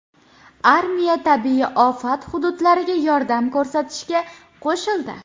Armiya tabiiy ofat hududlariga yordam ko‘rsatishga qo‘shildi.